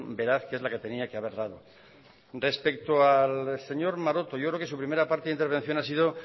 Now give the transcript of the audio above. veraz que es la que tenía que haber dado respecto al señor maroto yo creo que su primera parte de intervención ha sido